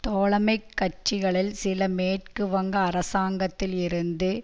தோழமைக் கட்சிகளில் சில மேற்கு வங்க அரசாங்கத்தில் இருந்து